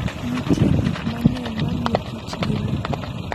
Nitie gik mang'eny mamiyo kich gi le.